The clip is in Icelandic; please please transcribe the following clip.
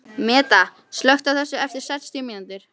Meda, slökktu á þessu eftir sextán mínútur.